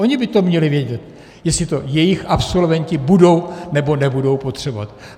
Ony by to měly vědět, jestli to jejich absolventi budou, nebo nebudou potřebovat.